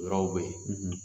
O yɔrɔw be ye